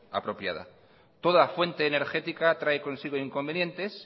apropiada toda fuente energética trae consigo inconvenientes